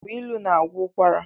Agbailu na-agwọ ụkwara.